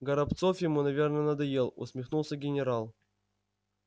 горобцов ему наверно надоел усмехнулся генерал